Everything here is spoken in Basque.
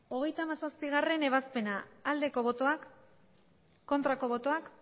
hogeita hamazazpigarrena ebazpena bozka dezakegu aldeko botoak aurkako botoak